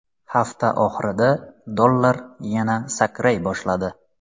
Hafta oxirida dollar yana sakray boshladi .